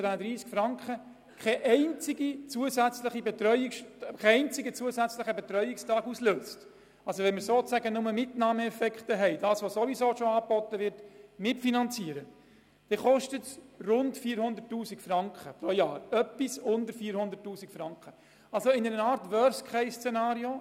Wenn kein einziger zusätzlicher Betreuungstag ausgelöst wird, das heisst die aktuell bereits bestehenden Angebote mitfinanziert werden, wird dies den Kanton pro Jahr knapp unter 400 000 Franken kosten.